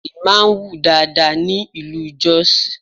Igi Ṣẹ̀rí máa ń wù dáadáa ní ìlú Jọ́sìì.